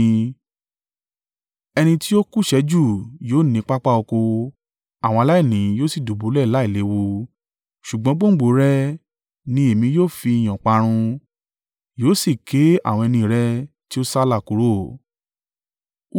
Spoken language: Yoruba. Ẹni tí ó kúṣẹ̀ẹ́ jù yóò ní pápá oko, àwọn aláìní yóò sì dùbúlẹ̀ láìléwu. Ṣùgbọ́n gbòǹgbò o rẹ̀ ni èmi ó fi ìyàn parun, yóò sì ké àwọn ẹni rẹ tí ó sálà kúrò.